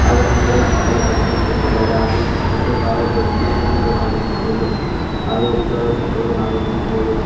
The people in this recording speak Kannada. ಹಾಗು ಮುಂದ್ಗಡೆ ಸುತ್ತಲು ಕಂಪೌಂಡ ಕಟ್ಟಿದ್ದಾರೆ ಹಾಗು ಮು ಒಂದು ಕಾರು ಬೈಕ ನಿಂತಿರುವುದು ನಾವು ಗಮನಿಸಬಹುದು ಹಾಗು ವ್ಯಕ್ತಿಗಳು ನಿಂತಿರುವುದು ನಾವು ಗಮನಿಸಬಹುದು.